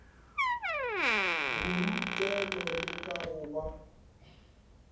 borutelo le ka go ba